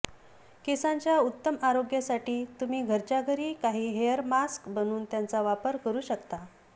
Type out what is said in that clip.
केसांच्या उत्तम आरोग्यासाठी तुम्ही घरच्या घरी काही हेअर मास्क्स बनवून त्यांचा वापर करू शकता